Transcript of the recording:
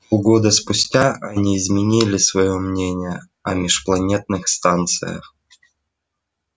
полгода спустя они изменили своё мнение о межпланетных станциях